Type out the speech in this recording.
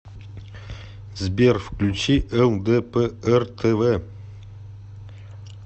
сбер включи эл дэ пэ эр тэ вэ